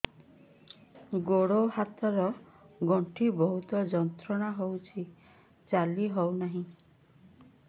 ଗୋଡ଼ ହାତ ର ଗଣ୍ଠି ବହୁତ ଯନ୍ତ୍ରଣା ହଉଛି ଚାଲି ହଉନାହିଁ